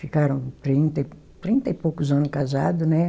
Ficaram trinta e, trinta e poucos ano casado, né?